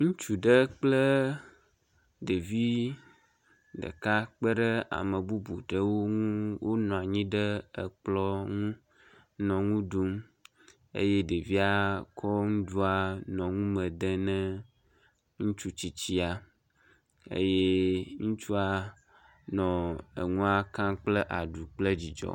Ŋutsu ɖe kple ɖevi ɖeka kpeɖe ame bubu ɖewo ŋu wonɔa nyi ɖe ekplɔ̃ ŋu nɔ ŋu ɖum eye ɖevia kɔ ŋuɖua nɔ ŋume de nɛ ŋutsu tsitsia eye ŋutsua nɔ eŋua ka kple aɖu kple dzidzɔ.